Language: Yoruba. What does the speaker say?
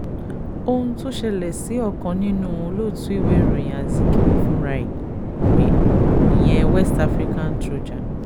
ohun tó ṣẹlẹ̀ sí ọ̀kan nínú olótùú ìwé ìròyìn azikiwe fúnra ẹ̀ rèé ìyẹn west african trojan